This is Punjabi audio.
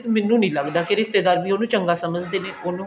ਮੈਨੂੰ ਨੀ ਲੱਗਦਾ ਕਿ ਰਿਸ਼ਤੇਦਾਰ ਵੀ ਉਹਨੂੰ ਚੰਗਾ ਸਮਝਦੇ ਨੇ ਉਹਨੂੰ